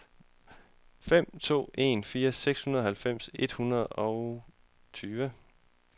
fem to en fire seksoghalvfems et hundrede og toogtyve